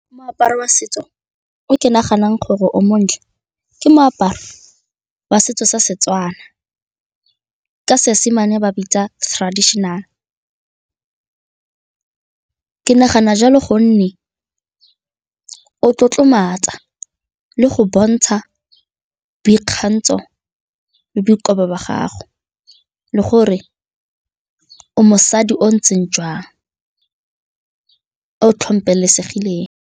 Moaparo wa setso o ke naganang gore o montle ke moaparo wa setso sa Setswana ke Seesimane ba bitsa traditional. Ke nagana jalo gonne o tlotlomatsa le go bontsha boikgantsho le boikobo ba gago le gore o mosadi o o ntseng jang, o .